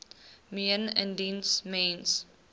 meen indien mens